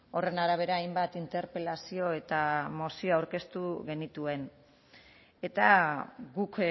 horren arabera hainbat interpelazio eta mozio aurkeztu genituen eta guk